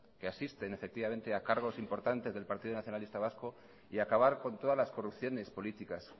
que asisten a cargos importantes del partido nacionalista vasco y acabar con todas las corrupciones políticas